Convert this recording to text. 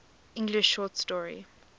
english short story